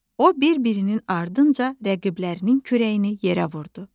O bir-birinin ardınca rəqiblərinin kürəyini yerə vurdu.